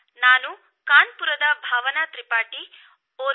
ನಾನು ಕಾನ್ಪುರದ ಭಾವನಾ ತ್ರಿಪಾಠಿ ಮಾತನಾಡುತ್ತಿದ್ದೇನೆ